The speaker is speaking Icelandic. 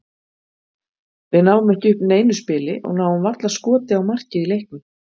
Við náum ekki upp neinu spili og náum varla skoti á markið í leiknum.